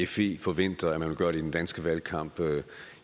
fe forventer at man vil gøre det i den danske valgkamp